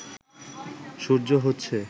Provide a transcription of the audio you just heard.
সূর্য হচ্ছে